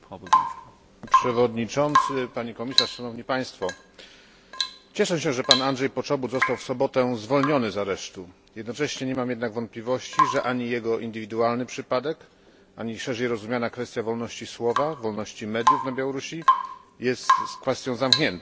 Panie Przewodniczący! Pani Komisarz! Cieszę się, że Andrzej Poczobut został w sobotę zwolniony z aresztu, jednocześnie nie mam jednak wątpliwości, że ani jego indywidualny przypadek, ani szerzej rozumiana kwestia wolności słowa, wolności mediów na Białorusi nie jest kwestią zamkniętą.